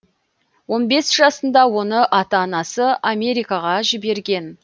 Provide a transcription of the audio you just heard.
он бес жасында оны ата анасы америкаға жіберген